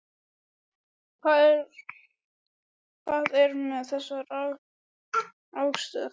Hvað er með þessa rangstöðu?